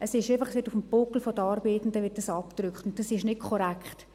» Dies wird einfach auf dem Buckel der Armen abgedrückt, und das ist nicht korrekt.